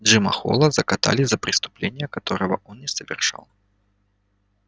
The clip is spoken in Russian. джима холла закатали за преступление которого он не совершал